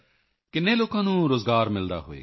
ਕਿੰਨੇ ਲੋਕਾਂ ਨੂੰ ਰੋਜ਼ਗਾਰ ਮਿਲਦਾ ਹੋਵੇਗਾ